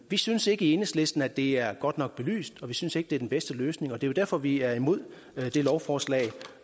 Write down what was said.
vi synes ikke i enhedslisten at det er godt nok belyst og vi synes ikke at det er den bedste løsning og det er derfor at vi er imod det lovforslag